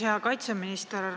Hea kaitseminister!